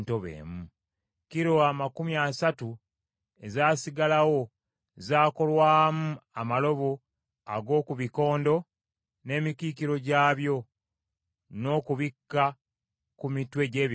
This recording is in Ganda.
Kilo amakumi asatu ezaasigalawo zaakolwamu amalobo ag’oku bikondo n’emikiikiro gyabyo, n’okubikka ku mitwe gy’ebikondo.